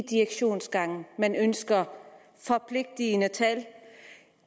direktionsgangene man ønsker forpligtende tal